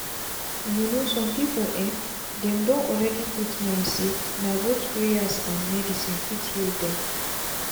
you know some people en dem don already put mind say na both prayers and medicine fit heal them.